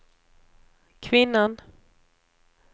kvinnan